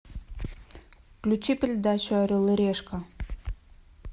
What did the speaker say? включи передачу орел и решка